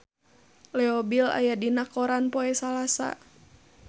Leo Bill aya dina koran poe Salasa